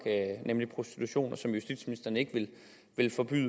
nemlig prostitution som justitsministeren ikke vil forbyde